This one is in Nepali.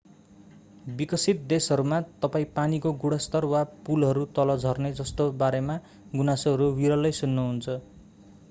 विकसित देशहरूमा तपाईं पानीको गुणस्तर वा पुलहरू तल झर्ने जस्ता बारेमा गुनासोहरू विरलै सुन्नुहुन्छ